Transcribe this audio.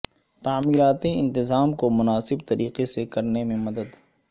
تعمیراتی انتظام کو مناسب طریقے سے کرنے میں مدد